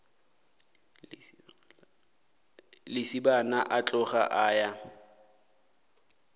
lesibana a tloga a ya